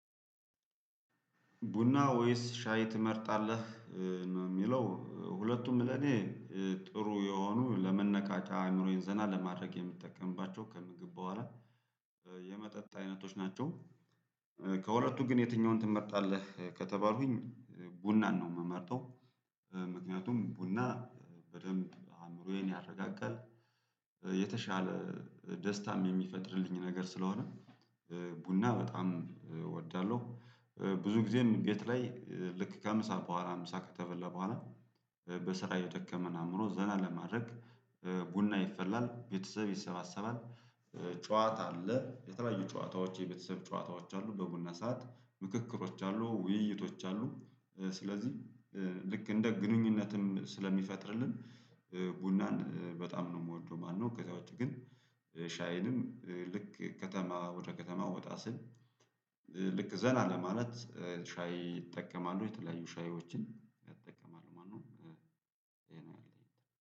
ቡና ወይስ ሻይ ትመርጣለህ? ነው የሚለው ሁለቱም ለኔ ጥሩ የሆኑ ለመነቃቂያ አእምሮዬን ዘና ለማድረግ የምጠቀምባቸው ከምግብ በኋላ የመጠጥ አይነቶች ናቸው። ከሁለቱ ግን የትኛውን ትመርጣለህ ከተባልኩኝ? ቡናን ነው የምመርጠው። ምክንያቱም ቡና በደንብ አእምሮዬን ያረጋጋል። የተሻለ ደስታም የሚፈጥርልኝ ነገር ስለሆነ። ቡና በጣም እወዳለሁ። ብዙ ጊዜም ጌት ላይ ልክ ከምሳ በኋላ ምሳ ከተበላ በኋላ። በስራ የደከመን አእምሮ ዘና ለማድረግ ቡና ይፈላል ቤተሰብ ይሰባሰባል። ጨዋታ አለ የተለያዩ ጨዋታዎች የቤተሰብ ጨዋታዎች አሉ በቡና ሰዓት ምክክሮች አሉ ውይይቶች አሉ። ስለዚህ ልክ እንደ ግንኙነትም ስለሚፈጥርልን ቡናን በጣም ነው የምወደው ማለትነው። ከዚያ ውጪ ግን። ሻይንም ልክ ከተማ ወደ ከተማ ወጣ ስል። ልክ ዘና ለማለት ሻይ እጠቀማለሁ። የተለያዩ ሻዮችን እጠቀማለው ማለትነው።